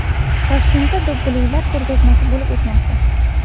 Toshkentda do‘ppilar ko‘rgazmasi bo‘lib o‘tmoqda.